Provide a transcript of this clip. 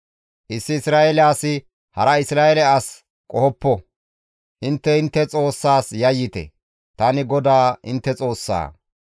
Issi Isra7eele asi hara Isra7eele as qohoppo; intte intte Xoossaas yayyite; tani GODAA intte Xoossaa.